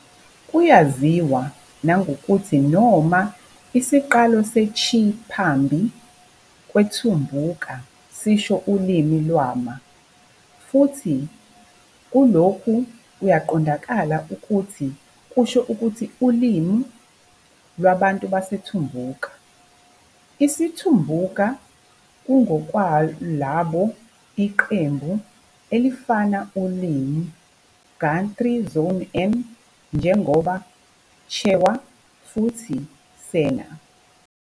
Kuyaziwa nangokuthi noma - "isiqalo se- chi-" phambi "kweTumbuka" sisho "ulimi lwama-", futhi kulokhu kuyaqondakala ukuthi kusho ukuthi "ulimi, lwabantu baseTumbuka". Isi-Tumbuka kungokwalabo iqembu elifanayo ulimi, Guthrie Zone N njengoba Chewa futhi Sena.